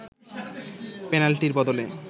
পেনাল্টির বদলে